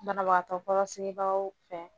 Banabagatɔ kɔrɔsigilaw fɛ.